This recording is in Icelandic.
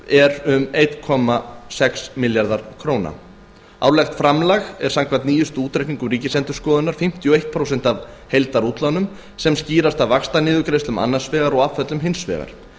er um einn komma sex milljarðar króna árlegt framlag ríkisins er samkvæmt nýjustu útreikningum ríkisendurskoðunar fimmtíu og eitt prósent af heildarútlánum sem skýrist af vaxtaniðurgreiðslum annars vegar og afföllum hins vegar